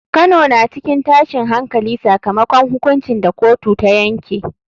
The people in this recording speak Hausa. Kano na cikin tashin hankali sakamakon hukuncin da kotu ta yanke.